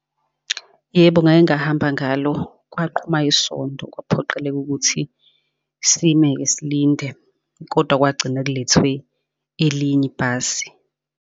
Yebo, ngake ngahamba ngalo, kwaqhuma isondo, kwaphoqeleka ukuthi sime-ke silinde, kodwa kwagcina kulethwe elinye ibhasi.